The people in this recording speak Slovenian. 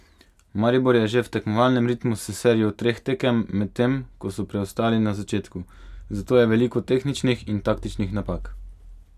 Maribor je že v tekmovalnem ritmu s serijo treh tekem, medtem ko so preostali na začetku, zato je veliko tehničnih in taktičnih napak.